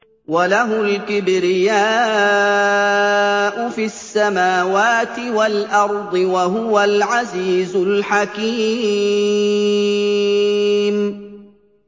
وَلَهُ الْكِبْرِيَاءُ فِي السَّمَاوَاتِ وَالْأَرْضِ ۖ وَهُوَ الْعَزِيزُ الْحَكِيمُ